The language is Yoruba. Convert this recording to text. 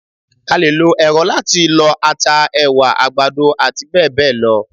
A lè lo èrọ láti lọ ata, ẹ̀wà, àgbàdo àti bẹ́ẹ̀bẹ́ẹ̀ lọ.